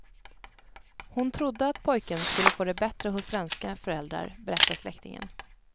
Hon trodde att pojken skulle få det bättre hos svenska föräldrar, berättar släktingen.